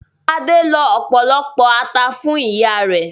Adé lọ ọ̀pọ̀lọpọ̀ ata fún ìyá rẹ̀.